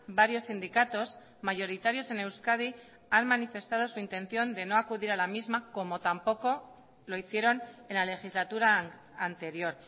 varios sindicatos mayoritarios en euskadi han manifestado su intención de no acudir a la misma como tampoco lo hicieron en la legislatura anterior